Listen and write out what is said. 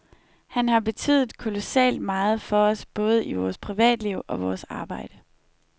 Han har betydet kolossalt meget for os både i vores privatliv og vores arbejde.